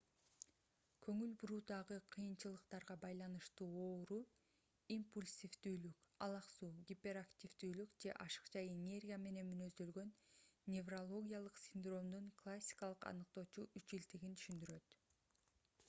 көңүл буруудагы кыйынчылыктарга байланыштуу ооруу - импульсивдүүлүк алаксуу гиперактивдүүлүк же ашыкча энергия менен мүнөздөлгөн неврологиялык синдромдун классикалык аныктоочу үчилтигин түшүндүрөт